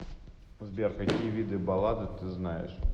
сбер какие виды баллады ты знаешь